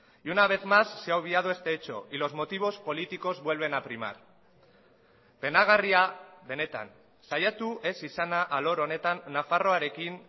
y una vez más se ha obviado este hecho y los motivos políticos vuelven a primar penagarria benetan saiatu ez izana alor honetan nafarroarekin